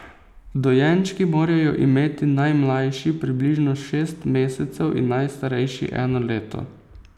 Dojenčki morajo imeti najmlajši približno šest mesecev in najstarejši eno leto.